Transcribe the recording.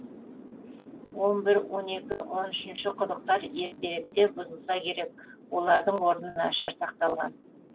он бір он екі он үшінші құдықтар ертеректе бұзылса керек олардың орны нашар сақталған